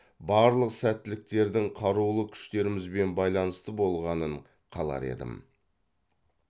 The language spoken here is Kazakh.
барлық сәттіліктердің қарулы күштерімізбен байланысты болғанын қалар едім